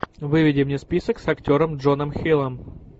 выведи мне список с актером джоном хиллом